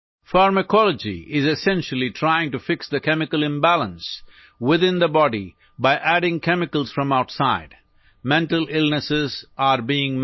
ফাৰ্মাকলজীয়ে মূলতঃ বাহিৰৰ পৰা ৰাসায়নিক পদাৰ্থ যোগ কৰি শৰীৰৰ ৰাসায়নিক ভাৰসাম্যহীনতা দূৰ কৰিবলৈ চেষ্টা কৰে